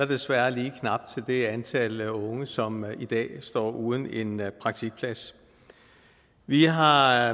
desværre til det antal unge som i dag står uden en praktikplads vi har